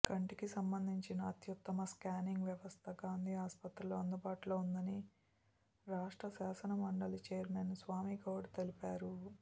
కంటికి సంబంధించిన అత్యుత్తమ స్కానింగ్ వ్యవస్థ గాంధీ ఆస్పత్రిలో అందుబాటులో ఉందని రాష్ట్ర శాసనమండలి చైర్మన్ స్వామిగౌడ్ తెలిపారు